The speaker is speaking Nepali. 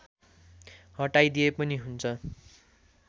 हटाइदिए पनि हुन्छ